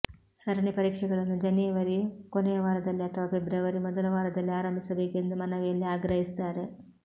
ಸರಣಿ ಪರೀಕ್ಷೆಗಳನ್ನು ಜನೇವರಿ ಕೊನೆಯ ವಾರದಲ್ಲಿ ಅಥವಾ ಫೆಬ್ರುವರಿ ಮೊದಲ ವಾರದಲ್ಲಿ ಆರಂಭಿಸಬೇಕು ಎಂದು ಮನವಿಯಲ್ಲಿ ಆಗ್ರಹಿಸಿದ್ದಾರೆ